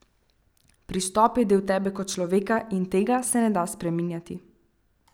Pristop je del tebe kot človeka in tega se ne da spreminjati.